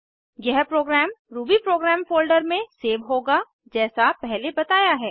यह program Ruby program folder में save होगा जैसा पहले बताया है